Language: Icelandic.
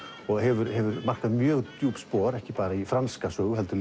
og hefur markað mjög djúp spor ekki bara í franska sögu heldur